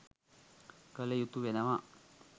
කළ යුතු වෙනවා.